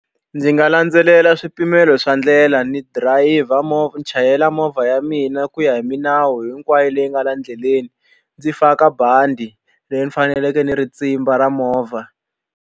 Ndzi nga landzelela swipimelo swa ndlela ni dirayivha movha ni chayela movha ya mina ku ya hi milawu hinkwayo leyi nga la endleleni ndzi faka bandi leri ni faneleke ni ri tsimba ra movha.